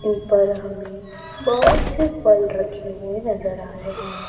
ऊपर हमें बहोत से फल रखे हुए नजर आ रहे हैं।